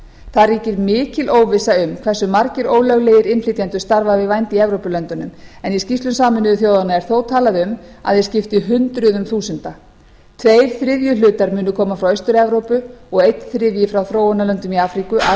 það ríkir mikil óvissa um hversu margir ólöglegir innflytjendur starfa við vændi í evrópulöndunum en í skýrslum sameinuðu þjóðanna er þó talað um að þeir skipti hundruðum þúsunda tveir þriðju hlutar munu koma frá austur evrópu og einn þriðji frá þróunarlöndum í afríku asíu og